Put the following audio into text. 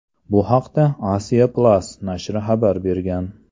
Bu haqda Asia-Plus nashri xabar bergan .